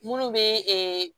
Munnu be